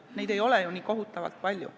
Neid ei ole ju nii kohutavalt palju.